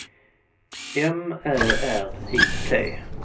M Ä R I T